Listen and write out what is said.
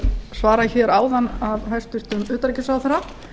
svarað hér áðan af hæstvirtum utanríkisráðherra